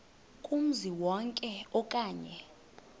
kumzi wonke okanye